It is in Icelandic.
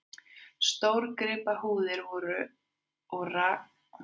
Stórgripahúðir voru og rakaðar og breiddar upp, en oftar þó úti við.